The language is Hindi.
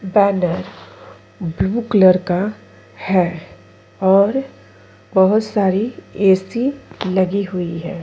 बैनर ब्लू कलर का है और बहुत सारी ऐसी लगी हुई है।